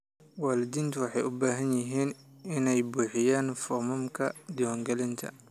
Waalidiintu waxay u baahan yihiin inay buuxiyaan foomamka diiwaangelinta.